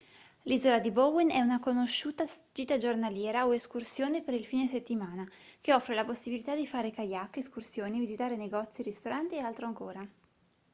l'isola di bowen è una conosciuta gita giornaliera o escursione per il fine settimana che offre la possibilità di fare kayak escursioni visitare negozi ristoranti e altro ancora